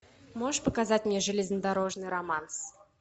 можешь показать мне железнодорожный романс